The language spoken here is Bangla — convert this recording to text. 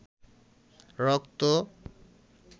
রক্ত